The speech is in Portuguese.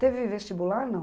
Teve vestibular, não?